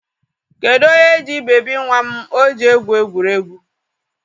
Kedu onye ji bebi nwa m o ji egwu egwuregwu?